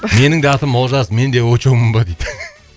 менің де атым олжас менде очоумын ба дейді